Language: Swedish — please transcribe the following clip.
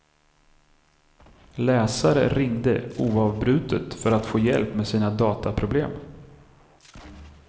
Läsare ringde oavbrutet för att få hjälp med sina dataproblem.